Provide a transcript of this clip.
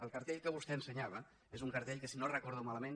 el cartell que vostè ensenyava és un cartell que si no ho recordo malament